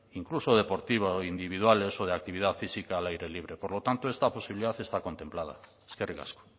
incluso deportivas o individuales o de actividad física al aire libre por lo tanto esta posibilidad está contemplada eskerrik asko